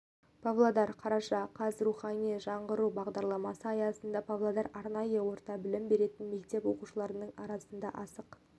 павлодар қараша қаз рухани жаңғыру бағдарламасы аясында павлодарда арнайы орта білім беретін мектеп оқушылары арасында асық